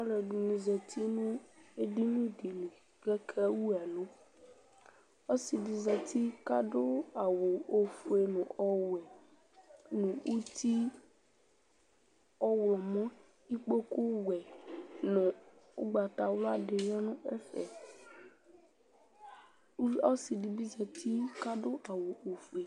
Aluɛdini zati nu edini dili kake wu ɛlu ɔsidi zati kadu awu ofue nu ɔwɛ nu uti ɔɣlɔmɔ ɛku wɛ nu ugbatawla dibi ya nu ɛfɛ ɔsidibi zati kadu awu ofue